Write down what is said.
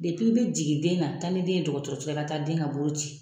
bɛ jigin den na taa ni den ye dɔgɔtɔrɔo la i ka den ka bolo ci.